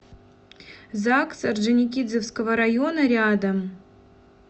загс орджоникидзевского района рядом